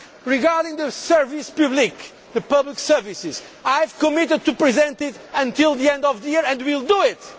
Regarding the services publiques the public services, I have committed to present it before the end of the year and we will do